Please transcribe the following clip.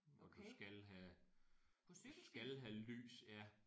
Og du skal have og du skal have lys ja